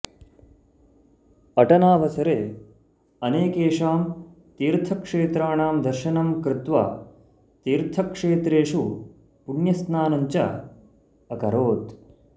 अटनावसरे अनेकेषां तीर्थक्षेत्राणां दर्शनं कृत्वा तीर्थक्षेत्रेषु पुण्यस्नानं च अकरोत्